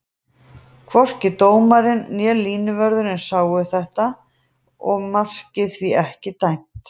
Hvorki dómarinn né línuvörðurinn sáu þetta og markið því ekki dæmt.